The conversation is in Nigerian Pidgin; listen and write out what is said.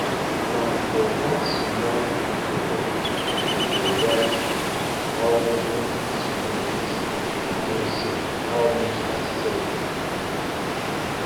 people wey dey turn um cassava to um garri for benue dey use sun dryer am so that um so that um the food no go spoil